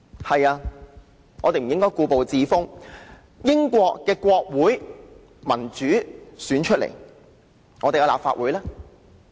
對的，我們不應故步自封，英國國會是由民主選舉產生，但我們的立法會呢？